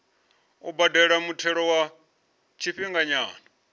u badela muthelo wa tshifhinganyana